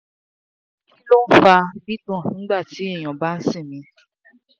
kí ló ń fa gbigbon nigba ti eyan ba n simi?